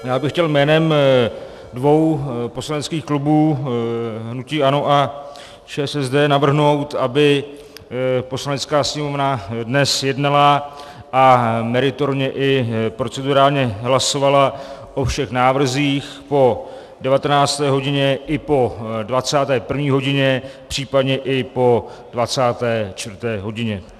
Já bych chtěl jménem dvou poslaneckých klubů, hnutí ANO a ČSSD, navrhnout, aby Poslanecká sněmovna dnes jednala a meritorně i procedurálně hlasovala o všech návrzích po 19. hodině i po 21. hodině, případně i po 24. hodině.